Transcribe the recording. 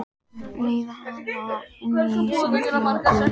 Leiða hana inn í samfélag guðs.